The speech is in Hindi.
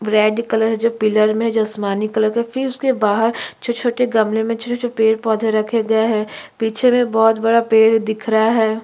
रेड कलर जो पिलर में जी आसमानी कलर का फिर उसके बाहर छोटे-छोटे गमले में छोटे-छोटे पेड़-पौधे रखे गए है पीछे में बहोत बड़ा पेड़ दिख रहा है।